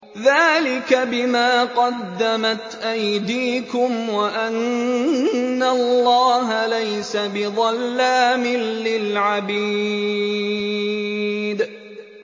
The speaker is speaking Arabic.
ذَٰلِكَ بِمَا قَدَّمَتْ أَيْدِيكُمْ وَأَنَّ اللَّهَ لَيْسَ بِظَلَّامٍ لِّلْعَبِيدِ